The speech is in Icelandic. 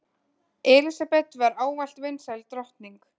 Elísabet var ávallt vinsæl drottning.